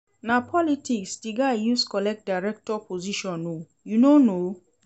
Na politics di guy use collect director position o, you no know?